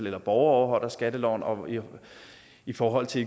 eller borgere overholder skatteloven og igen i forhold til